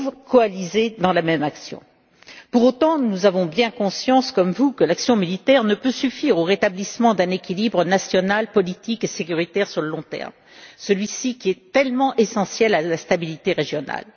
coalisés dans la même action. Pour autant, nous avons bien conscience, comme vous, que l'action militaire ne peut suffire au rétablissement d'un équilibre national, politique et sécuritaire à long terme, tellement essentiel à la stabilité régionale.